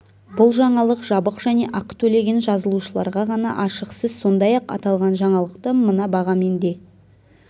бұл жаңалық жабық және ақы төлеген жазылушыларға ғана ашық сіз сондай-ақ аталған жаңалықты мына бағамен де